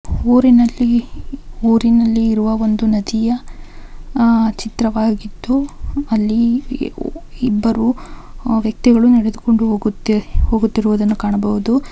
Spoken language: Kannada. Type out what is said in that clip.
ಊರಿನಲ್ಲಿ ಊರಿನಲ್ಲಿ ಇರುವ ಒಂದು ನದಿಯ ಚಿತ್ರವಾಗಿದ್ದು ಅಲ್ಲಿ ಇಬ್ಬರು ವ್ಯಕ್ತಿಗಳು ನಡೆದುಕೊಂಡು ಹೋಗುತಿ ಹೋಗುತಿರುವುದನ್ನು ಕಾಣಬಹುದು.